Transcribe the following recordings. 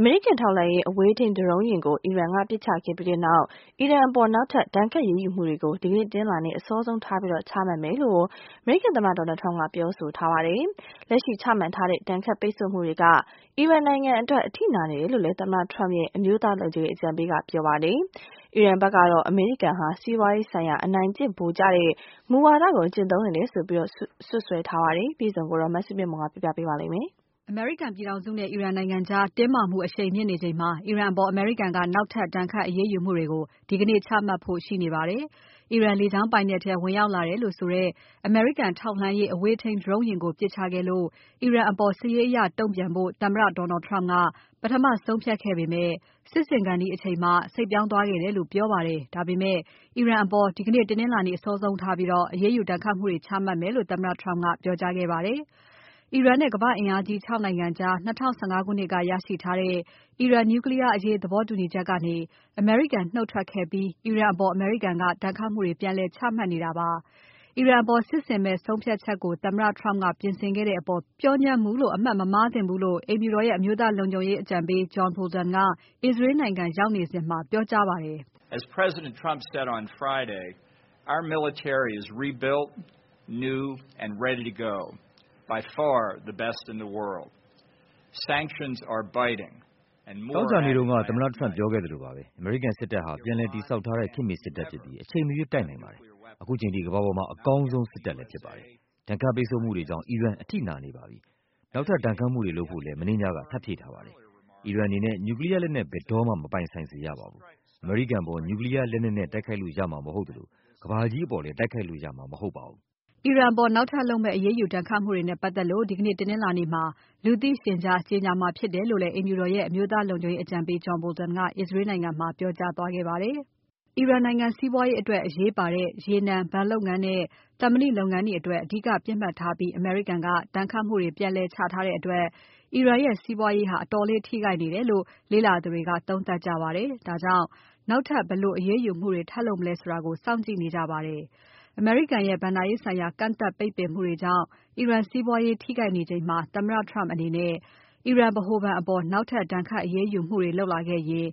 အမေရိကန် ထောက်လှမ်းရေး အဝေးထိန်း Drone ယာဉ်ကို အီရန်က ပစ်ချခဲ့ပြီးနောက် အီရန်အပေါ် နောက်ထပ် ဒဏ်ခတ် အရေးယူမှုတွေကို ဒီကနေ့ တနင်္လာနေ့ အစောဆုံးထား ချမှတ်မယ်လို့ သမ္မတ Donald Trump က ပြောကြားထားပါတယ်။ လက်ရှိ ချမှတ်ထားတဲ့ ဒဏ်ခတ် ပိတ်ဆို့မှုတွေက အီရန်နိုင်ငံအတွက် အထိနာနေတယ်လို့ သမ္မတ Trump ရဲ့အမျိုးသားလုံခြုံရေး အကြံပေးကလည်း ပြောပါတယ်။ အီရန်ဘက်ကတော့ အမေရိကန်ဟာ စီးပွားရေးဆိုင်ရာ အနိုင်ကျင့် ဗိုလ်ကျတဲ့ မူဝါဒကို ကျင့်သုံးနေတယ်လို့ စွပ်စွဲလိုက်ပါတယ်။ အပြည့်အစုံကို မစုမြတ်မွန်က စုစည်းတင်ပြပါမယ်။ အမေရိကန်ပြည်ထောင်စုနဲ့ အီရန်နိုင်ငံကြား တင်းမာမှု အရှိန်မြင့်နေချိန်မှာ အီရန်အပေါ် အမေရိကန်က နောက်ထပ် ဒဏ်ခတ်အရေးယူမှုတွေကို ဒီကနေ့ ချမှတ်ဖို့ ရှိနေပါတယ်။ အီရန်လေကြောင်းပိုင်နက်ထဲ ဝင်ရောက်လာတယ်လို့ဆိုတဲ့ အမေရိကန် ထောက်လှမ်းရေး အဝေးထိန်း Drone ယာဉ်ကို ပစ်ချခဲ့လို့ အီရန်အပေါ် စစ်ရေးအရ တုံ့ပြန်ဖို့ သမ္မတ Donald Trump က ပထမ ဆုံးဖြတ်ခဲ့ပေမဲ့ စစ်ဆင်ခါနီးအချိန်မှ စိတ်ပြောင်းသွားခဲ့တယ်လို့ ပြောပါတယ်။ ဒါပေမဲ့ အီရန်အပေါ် ဒီနေ့ တနင်္လာနေ့ အစောဆုံးထားပြီး အရေးယူဒဏ်ခတ်မှုတွေ ချမှတ်မယ်လို့ သမ္မတ Trump ကပြောကြားခဲ့ပါတယ်။ အီရန်နဲ့ ကမ္ဘာ့အင်အားကြီး ခြောက်နိုင်ငံကြား ၂၀၁၅ ခုနှစ်က ရရှိထားတဲ့ အီရန် Nuclear အရေး သဘောတူညီချက်ကနေ အမေရိကန် နှုတ်ထွက်ခဲ့ပြီး အီရန်အပေါ် အမေရိကန်က ဒဏ်ခတ်မှုတွေ ပြန်လည် ချမှတ်နေတာပါ။ အီရန်အပေါ် စစ်ဆင်မယ့် ဆုံးဖြတ်ချက်ကို သမ္မတ Trump က ပြင်ဆင်ခဲ့တဲ့အပေါ် ပျော့ညံ့မှုလို့ အမှတ် မမှားသင့်ဘူးလို့ အိမ်ဖြူတော်ရဲ့ အမျိုးသားလုံခြုံရေးအကြံပေး John Bolton က အစ္စရေးနိုင်ငံ ရောက်နေစဉ်မှာ ပြောကြားပါတယ်။ "သောကြာနေ့တုန်းက သမ္မတ Trump ပြောခဲ့သလိုပါပဲ။ အမေရိကန်စစ်တပ်ဟာ ပြန်လည်တည်ဆောက်ထားတဲ့ ခေတ်မှီ စစ်တပ်ဖြစ်ပြီး အချိန်မရွေး တိုက်ခိုက်နိုင်ပါတယ်။ ခုချိန်ထိ ကမ္ဘာပေါ်မှာ အကောင်းဆုံး စစ်တပ်လည်း ဖြစ်ပါတယ်။ ဒဏ်ခတ် ပိတ်ဆို့မှုတွေကြောင့် အီရန် အထိနာနေပါတယ်။ နောက်ထပ် ဒဏ်ခတ်မှုတွေ လုပ်ဖို့လည်း မနေ့ညက ထပ်ဖြည့်ထားပါတယ်။ အီရန်နိုင်ငံအနေနဲ့ Nuclear လက်နက် ဘယ်တော့မှ မပိုင်ဆိုင်စေရပါဘူး၊ အမေရိကန်အပေါ် Nuclear လက်နက်နဲ့ တိုက်ခိုက်လို့ ရမှာ မဟုတ်သလို ကမ္ဘာကြီးအပေါ်လည်း တိုက်ခိုက်လို့ ရမှာ မဟုတ်ပါဘူး။" အီရန်အပေါ် နောက်ထပ်လုပ်မယ့် အရေးယူ ဒဏ်ခတ်မှုတွေနဲ့ ပတ်သက်လို့ ဒီကနေ့ တနင်္လာနေ့မှာ လူသိရှင်ကြား ကြေညာမှာဖြစ်တယ်လို့လည်း အိမ်ဖြူတော်ရဲ့ အမျိုးသားလုံခြုံရေးအကြံပေး John Bolton က အစ္စရေးနိုင်ငံမှာ ပြောကြားသွားခဲ့ပါတယ်။ အီရန်နိုင်ငံ စီးပွားရေးအတွက် အရေးပါတဲ့ ရေနံ၊ ဘဏ်လုပ်ငန်းနဲ့ သံမဏိလုပ်ငန်းတွေကို အဓိကပြစ်မှတ်ထားပြီး အမေရိကန်က ဒဏ်ခတ်မှုတွေ ပြန်လည်ချထားတဲ့အတွက် အီရန်ရဲ့ စီးပွားရေးဟာ အတော်လေး ထိခိုက်နေတယ်လို့ လေ့လာသူတွေက သုံးသပ်ကြပါတယ်။ ဒါကြောင့် နောက်ထပ် ဘယ်လိုအရေးယူမှုတွေ ထပ်လုပ်မလဲဆိုတာကို စောင့်ကြည့်နေကြပါတယ်။ အမေရိကန်ရဲ့ ဘဏ္ဍာရေးဆိုင်ရာ ကန့်သတ် ပိတ်ပင်မှုတွေကြောင့် အီရန်စီးပွားရေး ထိခိုက်နေချိန်မှာ သမ္မတ Trump အနေနဲ့ အီရန်ဗဟိုဘဏ်အပေါ် နောက်ထပ် ဒဏ်ခတ် အရေးယူမှုတွေ လုပ်လာခဲ့ရင်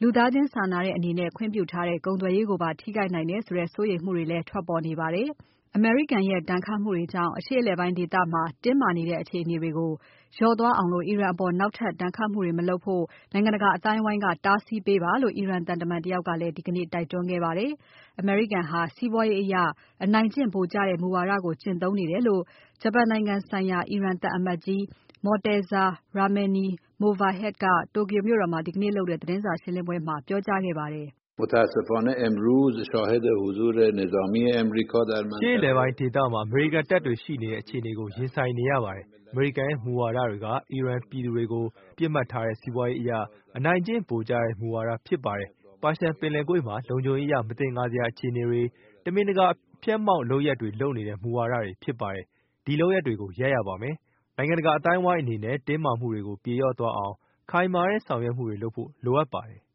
လူသားချင်း စာနာတဲ့အနေနဲ့ ခွင့်ပြုထားတဲ့ ကုန်သွယ်ရေးကိုပါ ထိခိုက်နိုင်တယ်ဆိုတဲ့ စိုးရိမ်မှုတွေလည်း ထွက်ပေါ်နေပါတယ်။ အမေရိကန်ရဲ့ ဒဏ်မှုတွေကြောင့် အရှေ့အလယ်ပိုင်းဒေသမှာ တင်းမာနေတဲ့ အခြေအနေတွေ လျော့သွားအောင် အီရန်အပေါ် နောက်ထပ် ဒဏ်ခတ်မှုတွေ မလုပ်အောင် နိုင်ငံတကာအသိုင်းအဝိုင်းက တားဆီးပေးဖို့ အီရန်သံတမန်တယောက်က ဒီကနေ့ တိုက်တွန်းခဲ့ပါတယ်။ အမေရိကန်ဟာ စီးပွားရေးအရ အနိုင်ကျင့် ဗိုလ်ကျတဲ့ မူဝါဒကို ကျင့်သုံးနေတယ်လို့ ဂျပန်နိုင်ငံဆိုင်ရာ အီရန်သံအမတ်ကြီး Morteza Rahmani Movahed က Tokyo မြို့တော်မှာ ဒီကနေ့လုပ်တဲ့ သတင်းစာရှင်းပွဲမှာ ပြောကြားခဲ့ပါတယ်။ "အရှေ့အလယ်ပိုင်းဒေသမှာ အမေရိကန်တပ်တွေ ရှိနေတဲ့ အခြေအနေကို ရင်ဆိုင်နေရပါတယ်။ အမေရိကန်ရဲ့ မူဝါဒတွေက အီရန်ပြည်သူတွေကို ပြစ်မှတ်ထားတဲ့ စီးပွားရေးအရ အနိုင်ကျင့်ဗိုလ်ကျတဲ့ မူဝါဒဖြစ်တယ်။ ပါရှန်ပင်လယ်ကွေ့မှာ လုံခြုံရေးအရ မသင်္ကာစရာ အခြေအနေတွေ၊ တမင်တကာ အဖျာက်အမှောင့်လုပ်ရပ်တွေ လုပ်နေတဲ့ မူဝါဒတွေ ဖြစ်ပါတယ်။ ဒီလုပ်ရပ်တွေ ရပ်ရပါမယ်။ နိုင်ငံတကာအသိုင်းအဝိုင်းအနေနဲ့ တင်းမာမှုတွေကို ပြေလျော့သွားအောင် ခိုင်မာတဲ့ ဆောင်ရွက်မှုတွေ လုပ်ဖို့ လိုအပ်ပါတယ်။"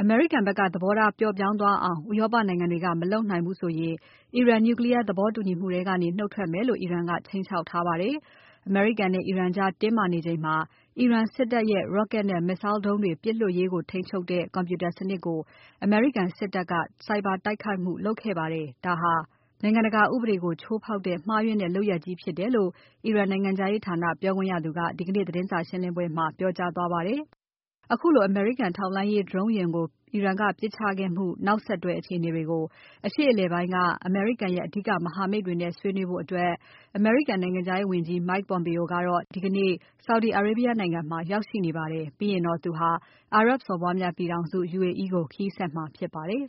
အမေရိကန်ဘက်က သဘောထား ပျော့ပြောင်းသွားအောင် ဥရောပနိုင်ငံတွေက မလုပ်နိုင်ဘူးဆိုရင် အီရန် Nuclear သဘောတူညီမှုထဲကနေ နှုတ်ထွက်မယ်လို့ အီရန်က ခြိမ်းခြောက်ထားပါတယ်။ အမေရိကန်နဲ့ အီရန်ကြား တင်းမာနေချိန်မှာ အီရန်စစ်တပ်ရဲ့ Rocket နဲ့ Missile ဒုံးတွေ ပစ်လွှတ်ရေးကို ထိန်းချုပ်တဲ့ Computer စနစ်ကို အမေရိကန်စစ်တပ်က ဆိုင်ဘာ တိုက်ခိုက်မှုလုပ်ခဲ့ပါတယ်။ ဒါဟာ နိုင်ငံတကာဥပဒေကို ချိုးဖောက်တဲ့ မှားယွင်းတဲ့လုပ်ရပ်ကြီးဖြစ်တယ်လို့ အီရန် နိုင်ငံခြားရေးဌာန ပြောခွင့်ရသူက ဒီကနေ့ သတင်းစာရှင်းပွဲမှာ ပြောကြားသွားပါတယ်။ ခုလို အမေရိကန် ထောက်လှမ်းရေး Drone ယာဉ်ကို အီရန်က ပစ်ချခဲ့မှု နောက်ဆက်တွဲ အခြေအနေတွေကို အရှေ့အလယ်ပိုင်းက အမေရိကန်ရဲ့ အဓိက မဟာမိတ်တွေနဲ့ ဆွေးနွေးဖို့ အမေရိကန်နိုင်ငံခြားရေးဝန်ကြီး Mike Pompeo ဒီကနေ့ Saudi Arabia နိုင်ငံမှာ ရောက်ရှိနေပါတယ်။ ပြီးရင်တော့ သူဟာ အာရပ်စော်ဘွားများပြည်ထောင်စု UAE ကို ခရီးဆက်မှာ ဖြစ်ပါတယ်